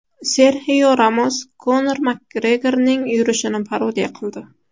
Serxio Ramos Konor Makgregorning yurishini parodiya qildi.